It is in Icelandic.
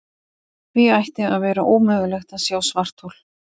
Því ætti að vera ómögulegt að sjá svarthol.